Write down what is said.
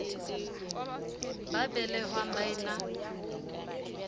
ba belehwang ba e na